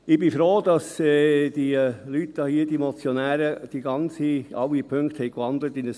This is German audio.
Ich bin froh, dass die Leute hier, die Motionäre, alle Punkte in ein Postulat gewandelt haben.